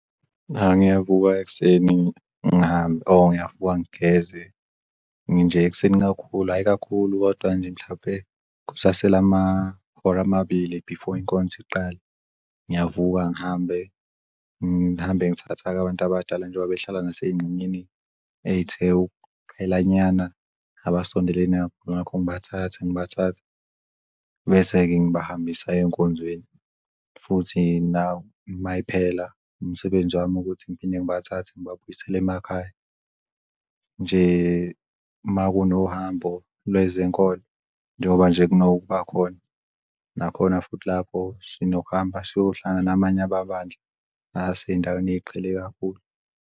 Yah ngiyavuka ekuseni ngihambe or ngiyavuka ngigeze ekuseni kakhulu. Hhayi kakhulu kodwa nje mhlampe kusasele amahora amabili before inkonzo iqale. Ngiyavuka ngihambe ngihambe ngithatha-ke abantu abadala njengoba behlala ngasengxenyeni ethe ukuqhela nyana. Abasondelene nakho ngibathatha, bese-ke ngibahambisa ey'nkonzweni futhi nayo mayiphela umsebenzi wami ukuthi ngiphinde ngibathathe ngibabuyisele emakhaya. Nje makunohambo lwezenkolo njengoba nje kunokuba khona nakhona futhi lapho sinokuhamba siyohlala namanye amabandla asey'ndaweni ey'qhele kakhulu.